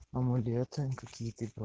амулеты какие-то и про